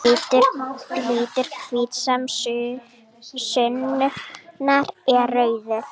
Litur hvítasunnunnar er rauður.